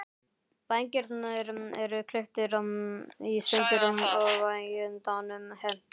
Vængirnir eru klipptir í sundur og vængendanum hent.